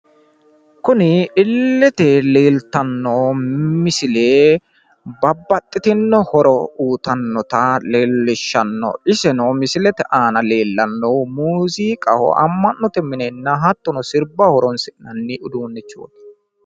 kuni illete leeltanno misile babaxitino horo uutannota leellishshanno iseno misilete aana leellannohu muziiqaho amma'note minenna hattono sirbaho horonsina'nni uduunnichooti.